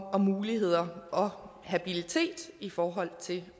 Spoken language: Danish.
og muligheder og habilitet i forhold til